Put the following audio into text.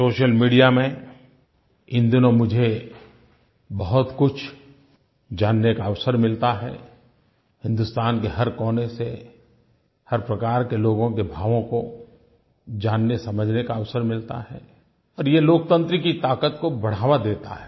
social media में इन दिनों मुझे बहुतकुछ जानने का अवसर मिलता है हिन्दुस्तान के हर कोने से हर प्रकार के लोगों के भावों को जाननेसमझने का अवसर मिलता है और ये लोकतंत्र की ताक़त को बढ़ावा देता है